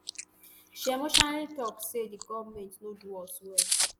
she emotionally tok say di goment no do us well